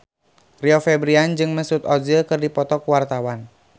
Rio Febrian jeung Mesut Ozil keur dipoto ku wartawan